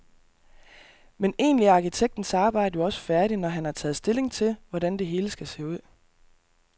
Men egentlig er arkitektens arbejde jo også færdigt, når han har taget stilling til, hvordan det hele skal se ud.